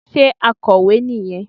Sé akọ̀wé nì yẹn